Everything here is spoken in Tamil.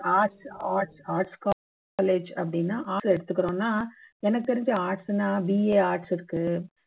arts arts arts college அப்படின்னா arts ல எடுத்துக்குறோம்னா எனக்கு தெரிஞ்சு arts னா BA arts இருக்கு